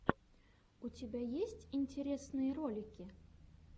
у тебя есть интересные ролики